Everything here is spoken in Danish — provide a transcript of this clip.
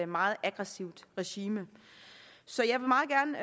meget aggressivt regime